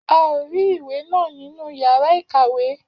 A ò rì ìwé náà ní inú yàrá ìkàwé